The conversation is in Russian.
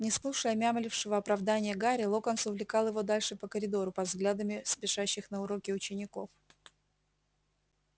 не слушая мямлившего оправдания гарри локонс увлекал его дальше по коридору под взглядами спешащих на уроки учеников